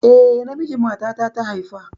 Eh, namiji matana ta haifa